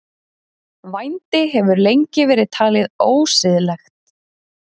Vændi hefur lengi verið talið ósiðlegt.